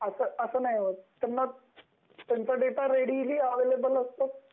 आता अस नाही होत. त्यांचा डेटा रेडिली अवेलेबल असतो